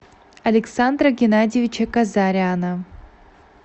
александра геннадьевича казаряна